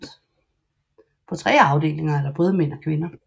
På tre afdelinger er der både mænd og kvinder